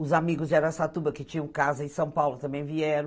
Os amigos de Araçatuba, que tinham casa em São Paulo, também vieram.